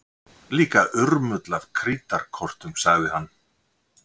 Líka urmull af krítarkortum sagði hann.